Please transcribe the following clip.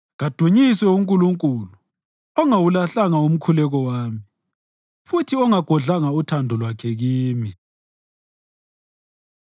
Kadunyiswe uNkulunkulu ongawulahlanga umkhuleko wami futhi ongagodlanga uthando lwakhe kimi.